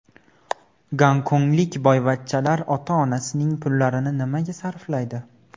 Gonkonglik boyvachchalar ota-onasining pullarini nimaga sarflaydi?